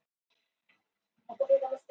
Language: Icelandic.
Lídó frá Filippseyjum